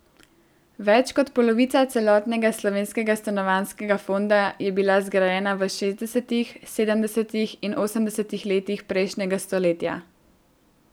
Več kot polovica celotnega slovenskega stanovanjskega fonda je bila zgrajena v šestdesetih, sedemdesetih in osemdesetih letih prejšnjega stoletja.